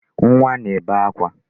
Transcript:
Nwa na-ebe akwa